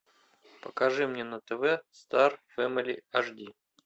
покажи мне на тв стар фэмили ашди